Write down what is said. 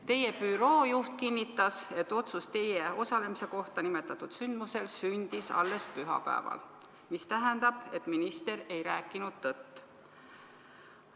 " Teie büroo juht kinnitas, et otsus teie osalemise kohta nimetatud sündmusel sündis alles pühapäeval, mis tähendab, et minister ei rääkinud tõtt.